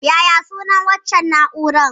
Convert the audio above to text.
Yaya sunan waccan na'urar?